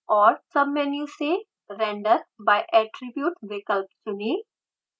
और सबमेन्यू से render by attribute विकल्प चुनें